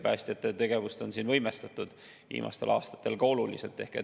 Päästjate tegevust on viimastel aastatel ka oluliselt võimestatud.